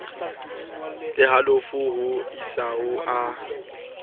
le halofo ho isaho a